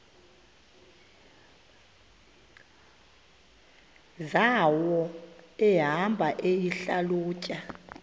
zawo ehamba eyihlalutya